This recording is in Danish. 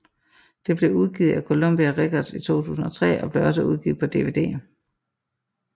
Det blev udgivet af Columbia Records i 2003 og blev også udgivet på DVD